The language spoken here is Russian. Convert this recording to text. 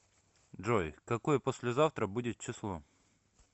джой какое послезавтра будет число